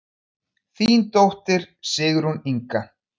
Þín dóttir, Sigrún Inga.